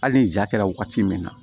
Hali ni ja kɛra wagati min na